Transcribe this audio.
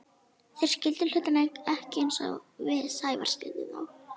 Þeir skildu hlutina ekki eins og við Sævar skildum þá.